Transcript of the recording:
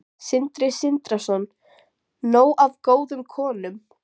Sindri Sindrason: Nóg af góðum konum?